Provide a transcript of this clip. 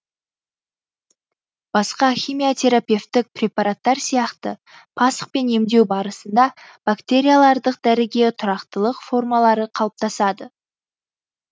басқа химиотерапевтік препаратар сияқты пасқ пен емдеу барысында бактериялардық дәріге тұрақтылық формалары қалыптасады